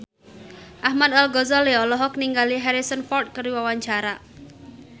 Ahmad Al-Ghazali olohok ningali Harrison Ford keur diwawancara